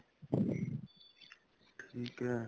ਠੀਕ ਏ